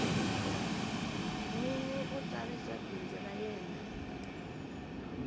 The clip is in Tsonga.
nwinyi u tsarisa bindzu ra yena